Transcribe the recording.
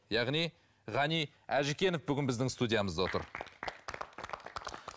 яғни ғани әжікенов бүгін біздің студиямызда отыр